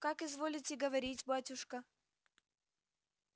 как изволите говорить батюшка